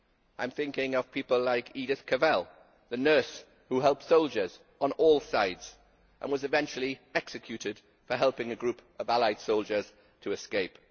I am thinking of people like Edith Cavell, the nurse who helped soldiers on all sides and was eventually executed for helping a group of Allied soldiers to escape.